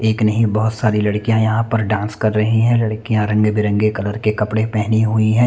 एक नहीं बहोत सारी लड़कियां यहाँ पे डांस कर रही हैं लड़कियां रंग-बिरंगे कलर के कपड़े पेहनी हुई है।